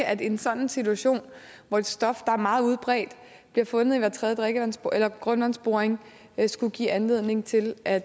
at en sådan situation hvor et stof der er meget udbredt og bliver fundet i hver tredje grundvandsboring skulle give anledning til at